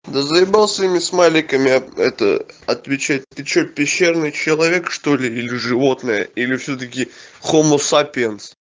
да заебал своими смайликами это отвечать ты что пещерный человек что-ли или животное или всё-таки хомосапиенс